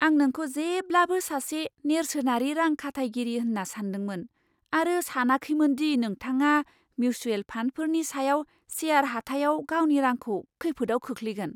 आं नोंखौ जेब्लाबो सासे नेर्सोनारि रां खाथायगिरि होन्ना सान्दोंमोन आरो सानाखैमोन दि नोंथाङा मिउसुयेल फान्डफोरनि सायाव सेयार हाथायाव गावनि रांखौ खैफोदाव खोख्लैगोन।